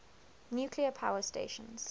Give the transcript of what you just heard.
nuclear power stations